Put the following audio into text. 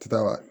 Ti taa wa